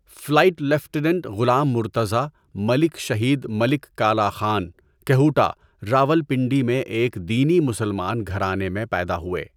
Flight lieutenant Ghulam Murtaza Malik شہید ملک کالا خان، کہوٹہ، راولپنڈی میں ایک دینی مسلمان گھرانے میں پیدا ہوئے۔